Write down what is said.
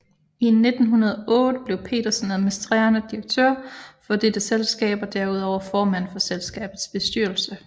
I 1908 blev Petersen administrerende direktør for dette selskab og derudover formand for selskabets bestyrelse